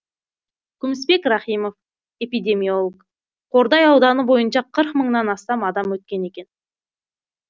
күмісбек рахимов эпидемиолог қордай ауданы бойынша қырық мыңнан астам адам өткен екен